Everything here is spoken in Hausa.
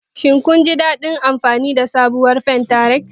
Kin ji daɗin amfani da Pinterest?